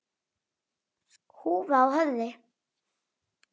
Húfa á höfði.